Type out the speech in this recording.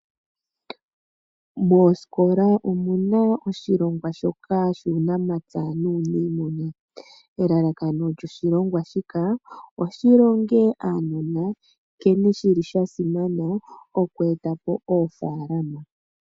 Moosikola omuna oshilongwa shoka shuunamapya nuuniimuna. Elalakano lyoshilongwa shika o shi longe uunona nkene shi li sha simana oku etapo oofalalama